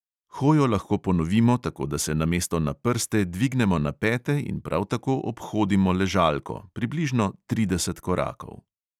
Hojo lahko ponovimo, tako da se namesto na prste dvignemo na pete in prav tako obhodimo ležalko – približno trideset korakov.